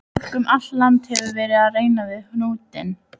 Fólk um allt land hefur verið að reyna við hnútinn.